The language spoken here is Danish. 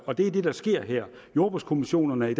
og det er det der sker her jordbrugskommissionerne er i